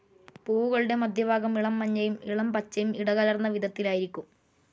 പൂവുകളുടെ മദ്ധ്യഭാഗം ഇളം മഞ്ഞയും ഇളം പച്ചയും ഇടകലർന്ന വിധത്തിലായിരിക്കും.